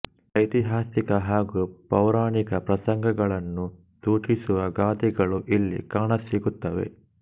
ಐತಿಹಾಸಿಕ ಹಾಗೂ ಪೌರಾಣಿಕ ಪ್ರಸಂಗಗಳನ್ನು ಸೂಚಿಸುವ ಗಾದೆಗಳೂ ಇಲ್ಲಿ ಕಾಣಸಿಗುತ್ತವೆ